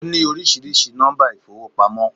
Ó ní oríṣiríṣi nọ́mbà ìfowópamọ́